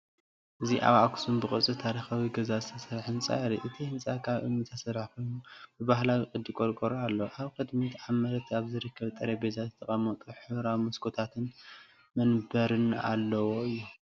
እዚ ኣብ ኣኽሱም ብቅርፂ ታሪኻዊ ገዛ ዝተሰርሐ ህንፃ የርኢ። እቲ ህንጻ ካብ እምኒ ዝተሰርሐ ኮይኑ፡ ብባህላዊ ቅዲ ቆርቆሮ ኣለዎ። ኣብ ቅድሚት ኣብ መሬት ኣብ ዝርከብ ጠረጴዛ ዝተቐመጡ ሕብራዊ መስኮታትን መንበርን ኣለዎ እዮም።